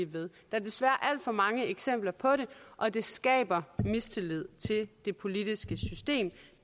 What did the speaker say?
ved der er desværre alt for mange eksempler på det og det skaber mistillid til det politiske system